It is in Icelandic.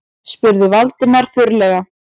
spurði Valdimar þurrlega.